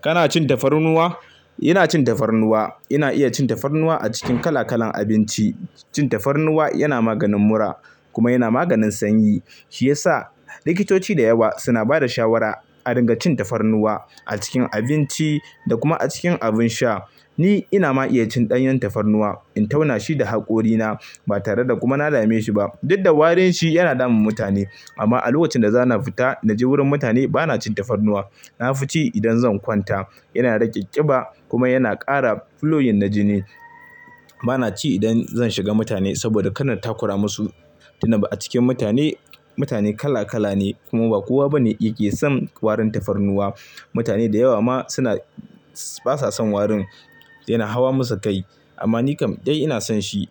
Kana cin tafarnuwa? Ina cin tafarnuwa. Ina iya cin tafarnuwa a cikin kala kalan abinci. Cin tafarnuwa yana maganin mura kuma yana maganin sanyi shiyasa likitoci da yawa suna bada shawara a ringa cin tafarnuwa a cikin abinci da kuma a cikin abin sha. Ni ina ma iya cin ɗanyan tafarnuwa in tauna shi da haƙorina ba tare da kuma na dame shi ba. Diddan warin shi yana damun mutane amma a lokacin da zan fita na je wurin mutane bana cin tafarnuwa. Na fi ci idan zan kwanta yana rage ƙiba kuma yana ƙara fuloyin na jini. Bana ci idan zan shiga mutane saboda kana takura masu. Tunda ba a cikin mutane, mutane kala kala ne kuma ba kowa bane yake son warin tafarnuwa. Mutane da yawa ma suna basa son warin yana hawa masa kai amma ni kam dai ina son shi.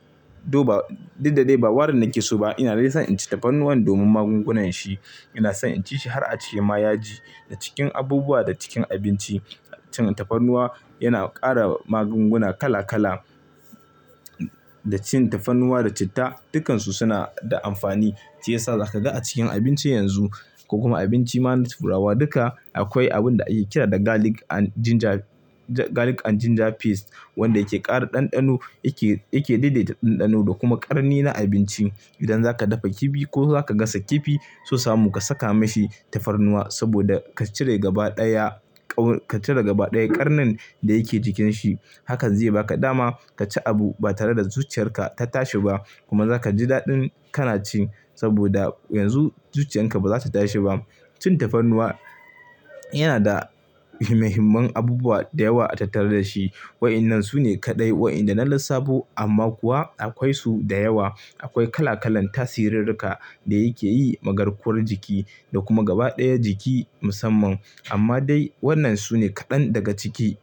To ba didda dai ba warin nake so ba ina dai son inci tafarnuwa domin magungunan shi. Ina son inci shi har a ciye ma yaji. A cikin abubuwa da cikin abinci cin tafarnuwa yana ƙara magunguna kala kala. Da cin tafarnuwa da citta dukansu suna da amfani shiyasa za ka ga a cikin abinci yanzu ko kuma abinci mana turawa duka akwai abun da ake kira da garlic and ginger, garlic and ginger paste wanda yake ƙara ɗanɗano yake, yake daidaita ɗanɗano da kuma ƙarni na abinci. Idan zaka dafa kifi ko zaka gasa kifi sosa mu ka saka mashi tafarnuwa saboda ka cire gaba ɗaya ƙaun, ka cire gaba ɗaya ƙarnin da yake cikin shi. Haka zai yi ba ka dama ka ci abu ba tare da zuciyar ka ta tashi ba kuma zaka ji daɗin kana ci saboda yanzu zuciyan ka baza ta tashi ba. Cin tafarnuwa yana da muhimman abubuwa da yawa a tattare da shi. Wa'inan sune kaɗai wa'inda na lissafo amma kuwa akwai su da yawa. Akwai kala kalan tasirirrika da yake yi ma garkuwar jiki da kuma gaba ɗaya jiki musamman amma dai wannan sune kaɗan daga ciki.